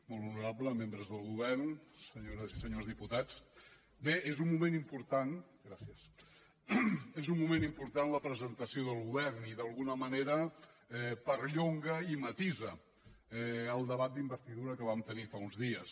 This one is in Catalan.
molt honorables membres del govern senyores i senyors diputats bé és un moment important la presentació del govern i d’alguna manera perllonga i matisa el debat d’investidura que vam tenir fa uns dies